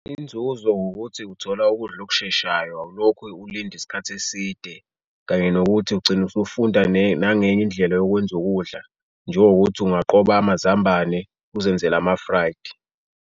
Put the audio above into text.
Inzuzo ukuthi uthola ukudla okusheshayo, awulokhu ulinde isikhathi eside kanye nokuthi ugcine usufunda nangenye indlela yokwenza ukudla, njengokuthi ungaqoba amazambane uzenzele ama-fried.